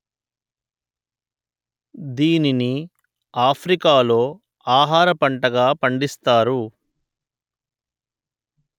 దీనిని ఆఫ్రికా లో ఆహార పంటగా పండిస్తారు